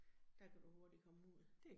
Der kan du hurtigt komme ud